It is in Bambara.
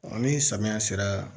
Ni samiya sera